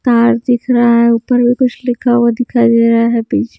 car दिख रहा है ऊपर भी कुछ लिखा हुआ दिखाई दे रहा है पीछे--